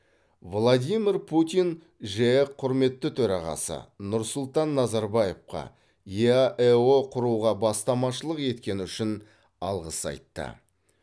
владимир путин жеэк құрметті төрағасы нұрсұлтан назарбаевқа еаэо құруға бастамашылық еткені үшін алғыс айтты